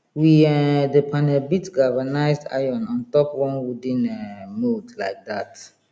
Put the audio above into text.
we um dey panel beat galvanized iron on top one wooden um mould like dat